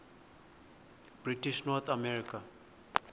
british north america